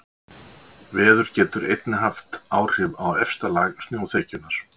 Veður getur einnig haft áhrif á efsta lag snjóþekjunnar.